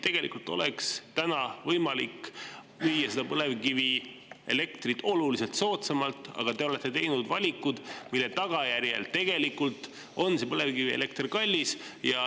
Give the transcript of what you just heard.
Tegelikult oleks täna võimalik müüa põlevkivielektrit oluliselt soodsamalt, aga te olete teinud valikud, mille tagajärjel on põlevkivielekter kallis.